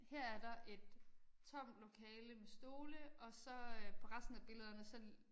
Her er der et tomt lokale med stole og så øh på resten af billederne så